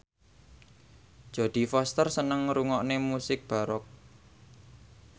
Jodie Foster seneng ngrungokne musik baroque